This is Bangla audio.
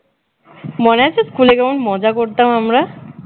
মনে আছে স্কুলে কেমন মজা করতাম আমরা